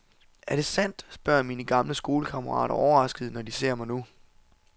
Er det sandt, spørger mine gamle skolekammerater overraskede, når de ser mig nu.